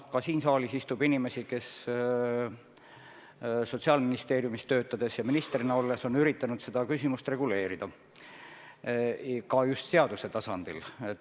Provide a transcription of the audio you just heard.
Ka siin saalis istub inimesi, kes Sotsiaalministeeriumis töötades ja minister olles on üritanud seda küsimust reguleerida – just seaduse tasandil.